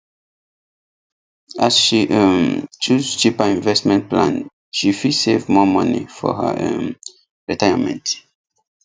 as she um choose cheaper investment plan she fit save more money for her um retirement